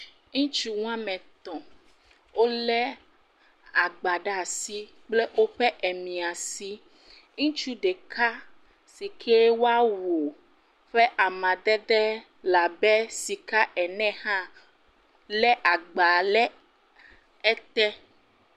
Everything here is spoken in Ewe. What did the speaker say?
Ŋutsu wa me tɔ̃ wolé agba ɖa si kple woƒe emiã si. Ŋutsu ɖeka si ke woa wu ƒe amadede le abe sika ene hã lé agba lɛ ete.